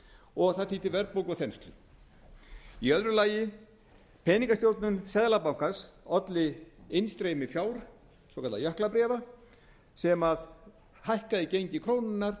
og það þýddi verðbólgu og þenslu annars peningastjórnun seðlabankans olli innstreymi fjár svokallaðra jöklabréfa sem hækkaði gengi krónunnar